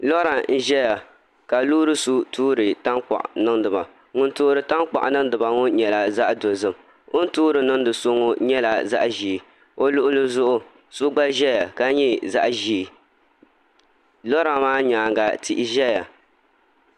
Llora n ʒɛya ka loori so toori tankpaɣu n niŋdiba ŋun toori tankpaɣu niŋdiba ŋo nyɛla zaɣ dozim o ni toori niŋdi so ŋo nyɛla zaɣ ʒiɛ o luɣuli zuɣu so gba ʒɛya ka nyɛ zaɣ ʒiɛ lora maa nyaanga tihi ʒɛya